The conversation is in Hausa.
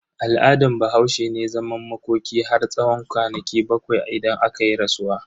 Al'adan Bahaushe ne zaman makoki har tsawon kwanaki bakwai idan akayi rasuwa.